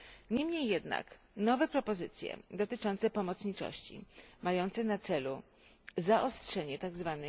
Niemniej jednak nowe propozycje dotyczące pomocniczości, mające na celu zaostrzenie tzw.